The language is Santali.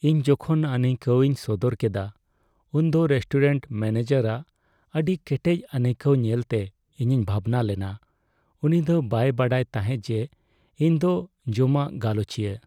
ᱤᱧ ᱡᱚᱠᱷᱚᱱ ᱟᱹᱱᱟᱹᱭᱠᱟᱹᱣᱤᱧ ᱥᱚᱫᱚᱨ ᱠᱮᱫᱟ ᱩᱱᱫᱚ ᱨᱮᱥᱴᱩᱨᱮᱱᱴ ᱢᱮᱹᱱᱮᱡᱟᱨᱟᱜ ᱟᱹᱰᱤ ᱠᱮᱴᱮᱡ ᱟᱹᱱᱟᱹᱭᱠᱟᱹᱣ ᱧᱮᱞᱛᱮ ᱤᱧᱤᱧ ᱵᱷᱟᱵᱽᱱᱟ ᱞᱮᱱᱟ ᱾ ᱩᱱᱤᱫᱚ ᱵᱟᱭ ᱵᱟᱰᱟᱭ ᱛᱟᱦᱮᱸ ᱡᱮ ᱤᱧᱫᱚ ᱡᱚᱢᱟᱜ ᱜᱟᱞᱚᱪᱤᱭᱟᱹ ᱾